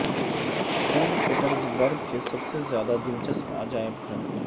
Saint Petersburg کے سب سے زیادہ دلچسپ عجائب گھر